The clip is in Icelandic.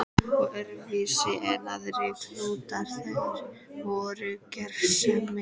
Og voru öðruvísi en aðrir klútar, þeir voru gersemi.